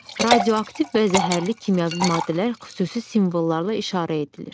Radioaktiv və zəhərli kimyəvi maddələr xüsusi simvollarla işarə edilir.